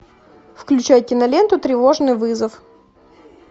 включай киноленту тревожный вызов